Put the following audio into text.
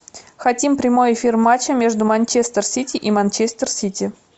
хотим прямой эфир матча между манчестер сити и манчестер сити